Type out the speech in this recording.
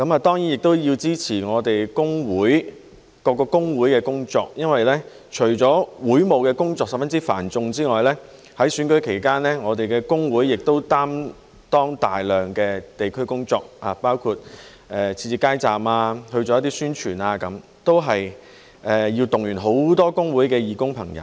當然，我也要支持我們各個工會的工作，因為除了會務工作十分繁重之外，在選舉期間我們的工會亦擔當大量的地區工作，包括設置街站及做一些宣傳，都要動員很多工會的義工朋友。